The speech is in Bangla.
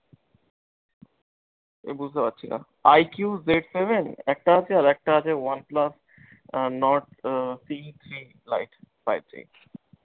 সেতা বুজতে পারছিনা i q j seven একটা হচ্ছে, আর একটা আছে one plus আহ nord আহ